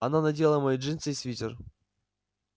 она надела мои джинсы и свитер